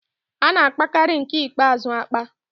A na-apakarị nke ikpeazụ apa.